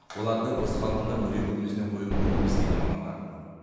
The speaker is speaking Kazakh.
оларды осы қалпында музей көрмесіне қою мүмкін емес дейді мамандар